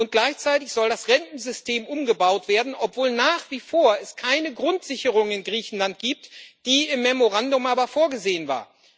Und gleichzeitig soll das Rentensystem umgebaut werden, obwohl es nach wie vor keine Grundsicherung in Griechenland gibt, die im Memorandum aber vorgesehen war.